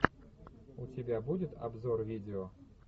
у тебя будет обзор видео